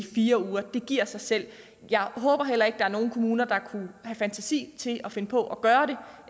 fire uger det giver sig selv jeg håber heller ikke at der er nogen kommuner der kunne have fantasi til at finde på at gøre